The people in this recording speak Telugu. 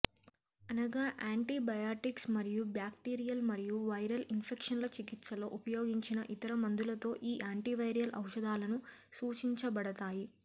అనగా యాంటీబయాటిక్స్ మరియు బ్యాక్టీరియల్ మరియు వైరల్ ఇన్ఫెక్షన్ల చికిత్సలో ఉపయోగించిన ఇతర మందులతో ఈ యాంటీవైరల్ ఔషధాలను సూచించబడతాయి